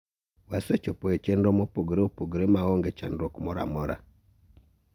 wasechopo chenro mopogore opogore maonge chandruok moro amora